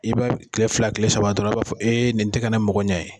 I b'a ye kile fila kile saba dɔrɔn, i b'a fɔ nin ti ka ne mago ɲɛ ye